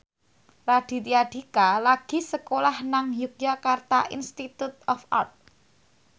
Raditya Dika lagi sekolah nang Yogyakarta Institute of Art